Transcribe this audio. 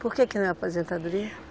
Por que que não é aposentadoria?